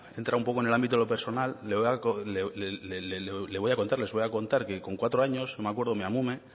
entra un poco en el ámbito de lo personal les voy a contar que con cuatro años me acuerdo mi amona